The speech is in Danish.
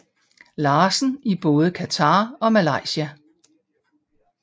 Larsen i både Qatar og Malaysia